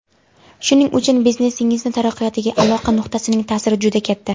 Shuning uchun biznesingiz taraqqiyotiga aloqa nuqtasining ta’siri juda katta.